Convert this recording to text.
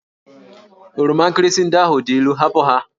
Oroma nkirịsị ndị ahụ dị ilu! hapụ ha!